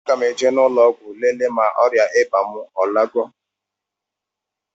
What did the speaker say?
A ga mụ eje n' ụlọgwụ lele ma ọria ịba mụ alagọ